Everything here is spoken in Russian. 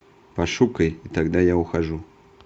пошукай и тогда я ухожу